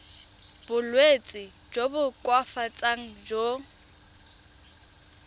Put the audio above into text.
bolwetsi jo bo koafatsang jo